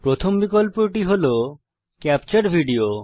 প্রথম বিকল্পটি capture video